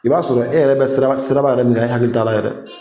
I b'a sɔrɔ e yɛrɛ bɛ sira siraba yɛrɛ min kan e hakili t'a la yɛrɛ